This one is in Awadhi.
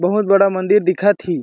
बहोत बड़ा मंदिर दिखा थी--